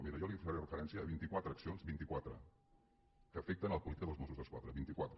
miri jo li faré referència a vint·i·quatre accions vint·i·quatre que afecten la política dels mossos d’esquadra vint·i·quatre